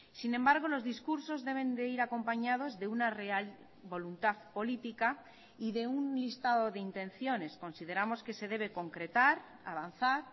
sin embargo los discursos deben de ir acompañados de una real voluntad política y de un listado de intenciones consideramos que se debe concretar avanzar